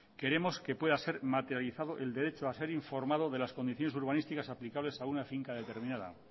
queremos que pueda ser materializado el derecho a ser informado de las condiciones urbanísticas aplicables a una finca determinada